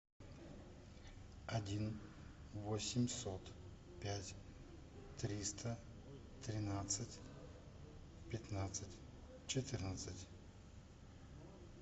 один восемьсот пять триста тринадцать пятнадцать четырнадцать